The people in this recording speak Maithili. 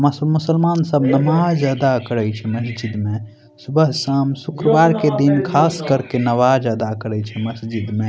मासु-मुसलमान सब नमाज अदा करे छै मस्जिद में सुबह-शाम शुक्रवार के दिन खास कर के नमाज अदा करे छै मस्जिद में।